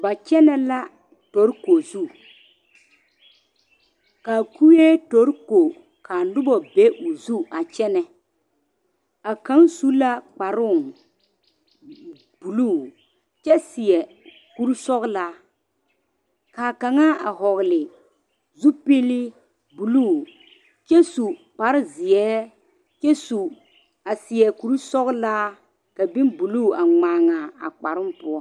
Ba kyɛnɛ la toriko zu, k'a kue toriko k'a noba be o zu a kyɛnɛ, a kaŋ su la kparooŋ buluu kyɛ seɛ kuri sɔgelaa k'a kaŋa hɔgele zupili buluu kyɛ su kpare zeɛ kyɛ su a seɛ kuri sɔgelaa ka ben buluu a ŋmaaŋaa kparoo poɔ.